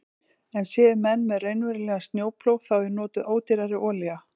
En séu menn með raunverulegan snjóplóg þá er notuð ódýrari olía.